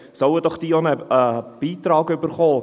Sollen doch diese auch einen Beitrag erhalten!